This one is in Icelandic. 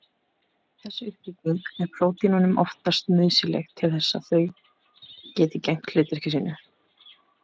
Þessi uppbygging er prótínunum oftast nauðsynleg til þess að þau geti gegnt hlutverki sínu.